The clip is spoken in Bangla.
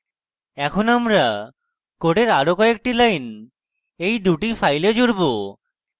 এখন আমরা code আরো কয়েকটি lines এই দুটি files জুড়ব